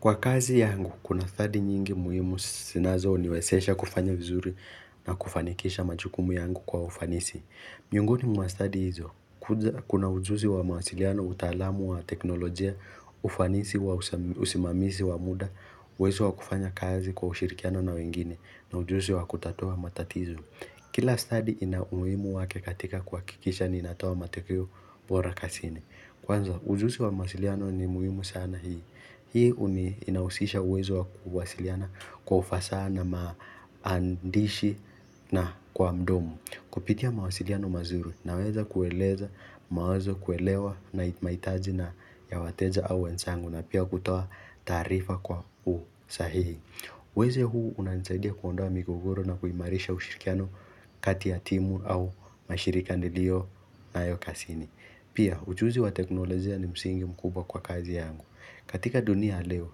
Kwa kazi yangu, kuna study nyingi muhimu sinazo niwesesha kufanya vizuri na kufanikisha machukumu yangu kwa ufanisi. Miongoni mwa stadi hizo, kuna ujuzi wa masiliano utaalamu wa teknolojia, ufanisi wa usimamizi wa muda, uwezo wa kufanya kazi kwa ushirikiano na wengine, na ujuzi wa kutatua matatizo. Kila study ina umuhimu wake katika kuakikisha niinatoa matekeo bora kasini. Kwanza, ujuzi wa masiliano ni muhimu sana hii. Hii uni inausisha uwezo wa kuwasiliana kwa ufasaha na maandishi na kwa mdomo Kupitia mawasiliano mazuri naweza kueleza mawazo kuelewa na maitaji na ya wateja au wensangu na pia kutoa tarifa kwa u sahihi weze huu unansaidia kuondoa migogoro na kuimarisha ushirikiano kati ya timu au mashirika nilionayo kasini Pia uchuzi wa teknolojia ni msingi mkubwa kwa kazi yangu katika dunia ya leo,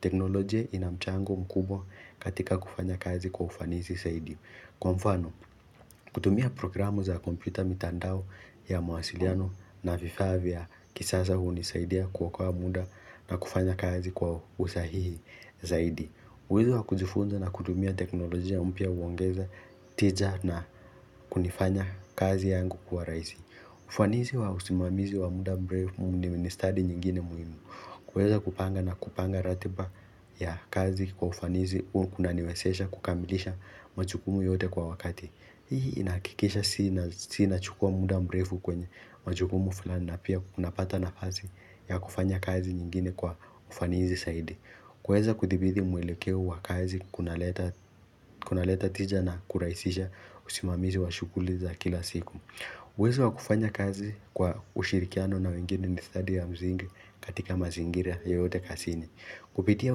teknolojie ina mchango mkubwa katika kufanya kazi kwa ufanisi saidi. Kwa mfano, kutumia programu za kompyuta mitandao ya mawasiliano na vifaa vya kisasa hunisaidia kuokoa muda na kufanya kazi kwa usahihi zaidi. Uwezo wa kujifunza na kutumia teknolojia mpya uongeza tija na kunifanya kazi yangu kuwa raisi. Ufanisi wa usimamizi wa muda mrefu ni ustadi nyingine muhimu. Kuweza kupanga na kupanga ratiba ya kazi kwa ufanisi kunanimezesha kukamilisha majukumu yote kwa wakati Hii inahakikisha inachukua muda mrefu kwenye majukumu fulani na pia tunapata nafasi ya kufanya kazi nyingine kwa ufanisisaidi kuweza kudhibiti mwelekeo wa kazi kuna leta tija na kurahisisha usimamizi wa shughuli za kila siku uwezo wa kufanya kazi kwa ushirikiano na wengine ni stadi wa msingi katika mazingira yoyote kazini Kupitia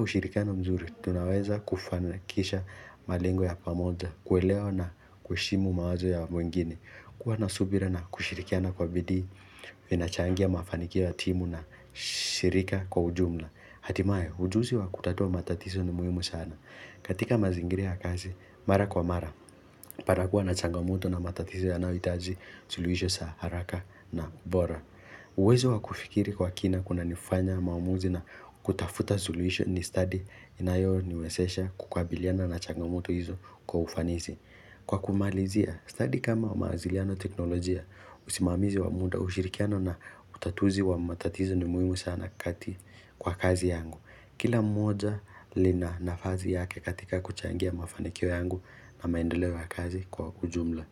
ushirikiano mzuri, tunaweza kufanikisha malengo ya pamoja, kuelewa na kuheshimu mawazo ya wengine. Kuwa na subira na kushirikiana kwa bidii, vinachangia mafanikio ya timu na shirika kwa ujumla. Hatimae, ujuzi wa kutatua matatizo ni muhimu sana. Katika mazingira ya kazi, mara kwa mara, panakuwa na changamoto na matatizo yanayohitaji suluhisho za haraka na bora uwezo wakufikiri kwa kina kuna nifanya maamuzi na kutafuta suluhisho ni stadi inayoniwezesha kukabiliana na changamoto hizo kwa ufanisi Kwa kumalizia, stadi kama mawasiliano na teknolojia usimamizi wa muda ushirikiano na utatuzi wa matatizo ni muhimu sana kati kwa kazi yangu Kila moja lina nafasi yake katika kuchangia mafanikio yangu na maendeleo ya kazi kwa ujumla.